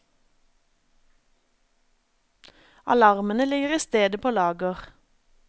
Alarmene ligger i stedet på lager.